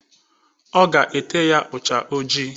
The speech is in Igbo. Ọ ga-ete ya ucha ojii.